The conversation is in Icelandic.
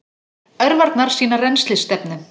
Örvarnar sýna rennslisstefnu.